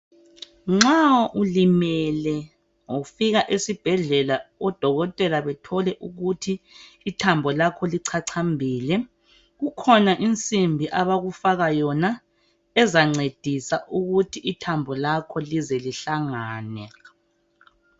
Nxa ulimele ufika esibhedlela, odokotela bethole ukuthi ithambo lakho lichachambile. Kukhona insimbi abakufaka yona ezancedisa ukuthi ithambo lakho lize lihlangane.